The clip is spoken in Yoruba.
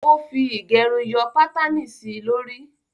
Ó fi ìgẹrun yọ pátànì sí lórí